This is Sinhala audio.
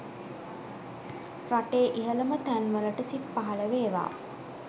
රටේ ඉහළම තැන්වලට සිත් පහළ වේවා